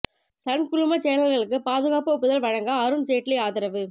Sun குழும சேனல்களுக்கு பாதுகாப்பு ஒப்புதல் வழங்க அருண் ஜேட்லி ஆதரவு